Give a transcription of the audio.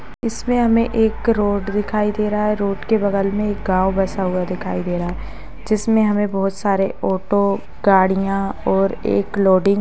इसमे हमे एक रोड दिखाई दे रहा है रोड के बगल मे एक गाव बसा हुआ दिखाई दे रहा है। जिसमे हमे बहुत सारे ऑटो गाड़िया और एक लोडिंग --